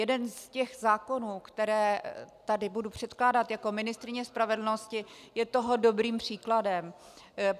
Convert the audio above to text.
Jeden z těch zákonů, které tady budu předkládat jako ministryně spravedlnosti, je toho dobrým příkladem.